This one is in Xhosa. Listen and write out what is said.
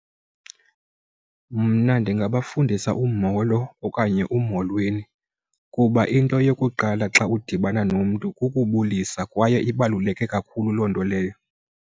Mna ndingabafundisa umolo okanye umolweni kuba into yokuqala xa udibana nomntu kukubulisa kwaye ibaluleke kakhulu loo nto leyo.